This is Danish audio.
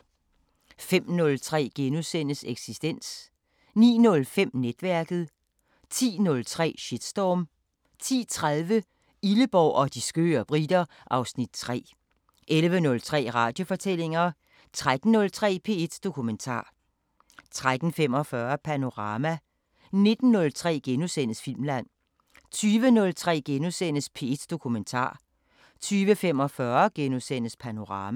05:03: Eksistens * 09:05: Netværket 10:03: Shitstorm 10:30: Illeborg og de skøre briter (Afs. 3) 11:03: Radiofortællinger 13:03: P1 Dokumentar 13:45: Panorama 19:03: Filmland * 20:03: P1 Dokumentar * 20:45: Panorama *